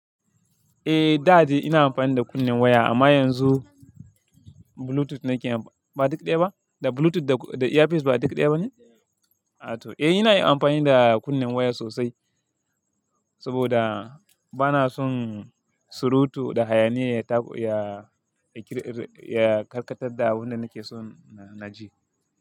Eh, da dai ina amfani da kunnen waya amma yanzu Bluetooth nake yi. Ba duk ɗaya ba? Da Bluetooth da earpiece ba duk ɗaya ba ne? A to. Eh ina yi amfani da kunnen waya sosai saboda bana son surutu da hayaniya ya karkatar da abunda nake so na ji.